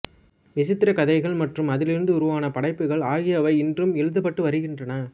விசித்திரக் கதைகள் மற்றும் அதிலிருந்து உருவான படைப்புகள் ஆகியவை இன்றும் எழுதப்பட்டு வருகின்றன